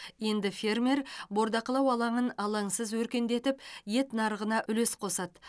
енді фермер бордақылау алаңын алаңсыз өркендетіп ет нарығына үлес қосады